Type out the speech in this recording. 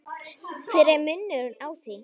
hver er munurinn á því?